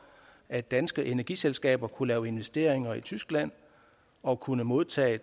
at danske energiselskaber kunne lave investeringer i tyskland og kunne modtage